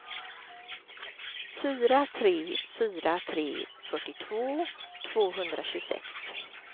fyra tre fyra tre fyrtiotvå tvåhundratjugosex